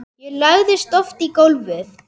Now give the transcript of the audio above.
Ég lagðist oft í gólfið.